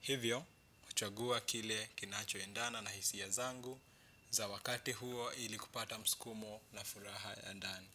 Hivyo, kuchagua kile kinachoendana na hisia zangu, za wakati huo ili kupata msukumo na furaha ya ndani.